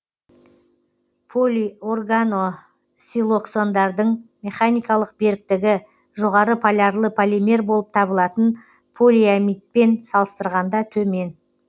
полиорганосилоксандардың механикалық беріктігі жоғары полярлы полимер болып табылатын полиамидпен салыстырғанда төмен